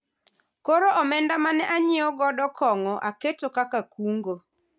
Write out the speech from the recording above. koro omenda mane anyiewo godo kong'o aketo kaka kungo